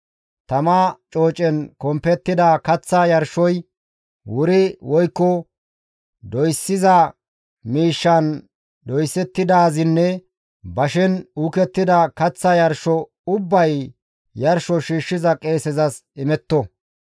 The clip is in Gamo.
Tama coocen kompettida kaththa yarshoy wuri woykko doyssiza miishshan doysettidaazinne bashen uukettida kaththa yarsho ubbay yarsho shiishshiza qeesezas imetto.